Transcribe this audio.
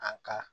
A ka